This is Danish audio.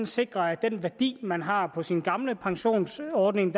sikrer at den værdi man har på sin gamle pensionsordning